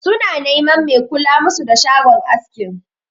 Su na neman mai kula musu da shagon askin.